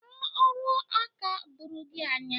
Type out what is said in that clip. Enwere ọrụaka doro gị anya?